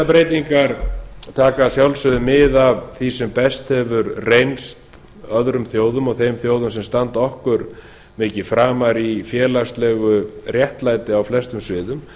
breytingar taka að sjálfsögðu mið af því sem best hefur reynst öðrum þjóðum og þeim þjóðum sem standa okkur mikið framar í félagslegu réttlæti á flestum sviðum